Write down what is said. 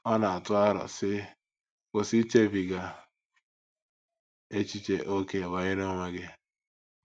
Ọ na - atụ aro, sị: “ Kwụsị ichebiga echiche ókè banyere onwe gị.